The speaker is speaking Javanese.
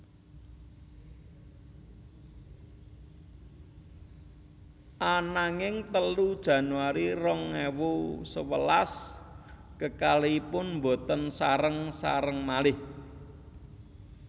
Ananging telu Januari rong ewu sewelas kekalihipun boten sareng sareng malih